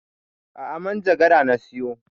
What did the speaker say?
A'a manjagara na siyo